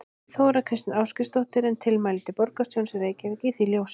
Þóra Kristín Ásgeirsdóttir: En tilmæli borgarstjórans í Reykjavík í því ljósi?